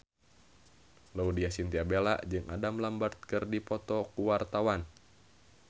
Laudya Chintya Bella jeung Adam Lambert keur dipoto ku wartawan